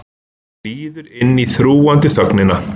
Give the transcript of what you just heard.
Líður inn í þrúgandi þögnina.